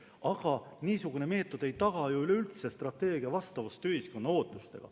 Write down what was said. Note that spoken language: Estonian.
Aga niisugune meetod ei taga ju üleüldse strateegia vastavust ühiskonna ootustele.